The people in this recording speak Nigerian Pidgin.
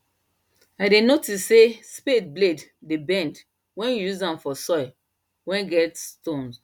i dey notice say spade blade dey bend wen you use am for soil wen get stones